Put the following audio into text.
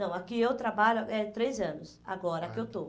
Não, aqui eu trabalho é três anos, agora que eu estou. Ah